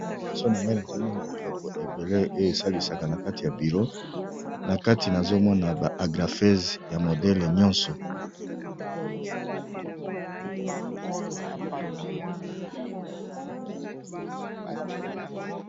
Awa liboso na ngai nazomona biloko eble oyo esalisaka na kati ya biro na kati nazomona ba agrapese ya modele nyonso.